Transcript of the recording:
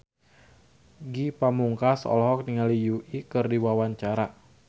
Ge Pamungkas olohok ningali Yui keur diwawancara